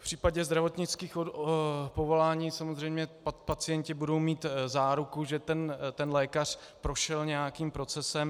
V případě zdravotnických povolání samozřejmě pacienti budou mít záruku, že ten lékař prošel nějakým procesem.